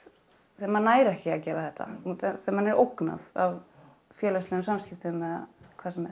þegar maður nær ekki að gera þetta þegar manni er ógnað af félagslegum samskiptum eða hvað sem er